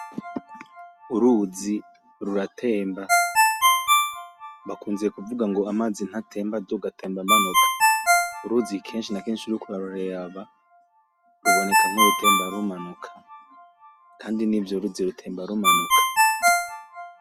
Uruzi ruratemba bakunze kuvuga ngo amazi ntatemba aduga atemba amanuka kenshi na kenshi uriko uraruraba ruboneka nkurutemba rumanuka, kandi nivyo rutemba rumanuka.